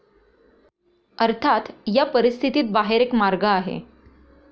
अर्थात, या परिस्थितीत बाहेर एक मार्ग आहे.